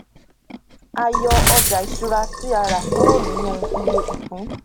a yọ ọjà ìṣúra tí a rà kúrò nínú iye ìpín